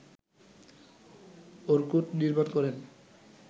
Orkut নির্মাণ করেন